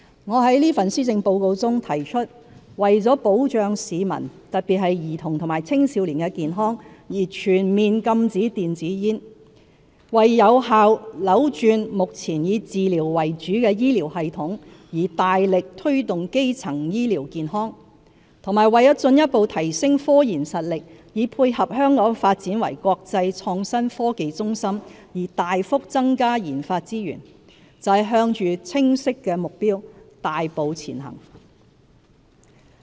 我在這份施政報告中提出為保障市民——特別是兒童和青少年——的健康而全面禁止電子煙、為有效扭轉目前以治療為主的醫療系統而大力推動基層醫療健康，以及為進一步提升科研實力以配合香港發展為國際創新科技中心而大幅增加研發資源，就是向着清晰的目標大步前行。